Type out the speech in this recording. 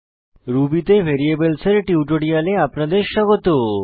Ruby তে variables এর টিউটোরিয়ালে আপনাদের স্বাগত